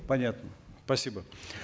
понятно спасибо